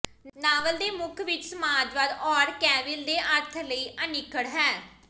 novel ਦੇ ਮੁੱਖ ਵਿਚ ਸਮਾਜਵਾਦ ਆਰਕੈਵਿਲ ਦੇ ਅਰਥ ਲਈ ਅਨਿੱਖੜ ਹੈ